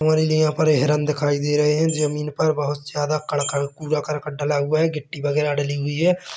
और यहाँ पर हिरण दिखाई दे रहै हैजमीन पर बहोत ज्यादा करकर कूड़ा कर्कट डला हुआ है गिट्टी वगैरा डली हुई है।